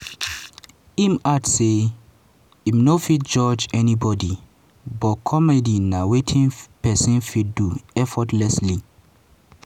im add say im no fit judge anybody but comedy na wetin pesin fit do effortlessly.